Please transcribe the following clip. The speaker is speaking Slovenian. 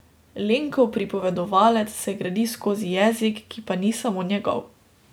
Lenkov pripovedovalec se gradi skozi jezik, ki pa ni samo njegov.